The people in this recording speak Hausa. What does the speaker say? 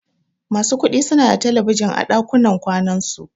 Masu kuɗi suna da talabijin a ɗakunan kwanan su.